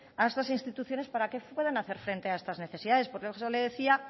a estas instituciones para que pueden hacer frente a estas necesidades por eso le decía